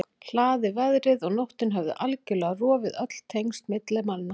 hlaði, veðrið og nóttin höfðu algjörlega rofið öll tengsl milli manna.